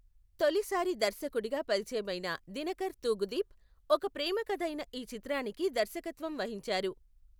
తొలిసారి దర్శకుడిగా పరిచయమైన దినకర్ తూగుదీప్, ఒక ప్రేమ కథైన ఈ చిత్రానికి దర్శకత్వం వహించారు.